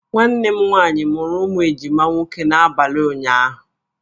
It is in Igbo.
Nwanne m nwaanyị mụrụ ụmụ ejima nwoke n'abalị ụnyaahụ